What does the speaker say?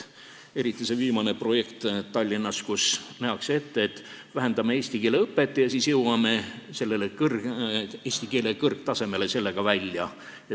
Eeskätt see viimane projekt Tallinnas, kus nähakse ette, et vähendame eesti keele õpet ja siis jõuame sellega eesti keele oskuse kõrgtasemele välja.